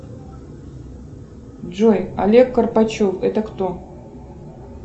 джой олег карпачев это кто